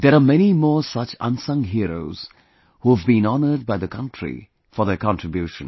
There are many more such unsung heroes who have been honoured by the country for their contribution